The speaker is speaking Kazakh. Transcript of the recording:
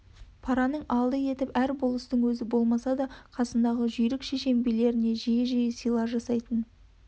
параның алды етіп әр болыстың өзі болмаса да қасындағы жүйрік шешен билеріне жиі-жиі сыйлар жасайды